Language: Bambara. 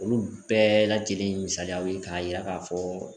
Olu bɛɛ lajɛlen ye misaliyaw ye k'a yira k'a fɔ